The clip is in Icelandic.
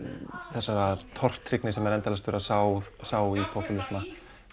þessarar tortryggni sem er endalaust verið að sá sá í popúlisma